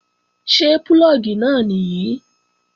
Ṣé púlọ̀gì náà nìyí?